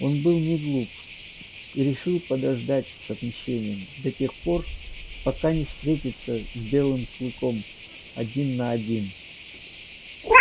он был неглуп и решил подождать с отмщением до тех пор пока не встретится с белым клыком один на один